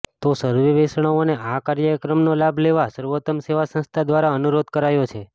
તો સર્વે વૈષ્ણવોને આ કાર્યક્રમનો લાભ લેવા સર્વોત્તમ સેવા સંસ્થા દ્વારા અનુરોધ કરાયો છે